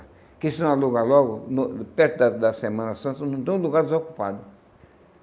Porque se não alugar logo no, perto da da Semana Santa, não tem um lugar desocupado.